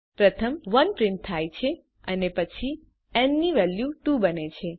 પ્રથમ 1 પ્રિન્ટ થાય છે અને પછી ન ની વેલ્યુ 2 બને છે